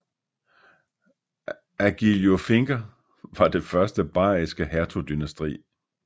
Agilolfinger var det første bayriske hertugdynasti